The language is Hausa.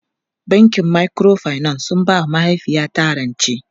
Bankin Microfinance suka ba mahaifiyata rancen.